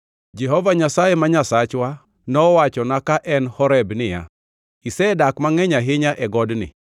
Jehova Nyasaye ma Nyasachwa nowachonwa ka en Horeb niya, “Isedak mangʼeny ahinya e godni.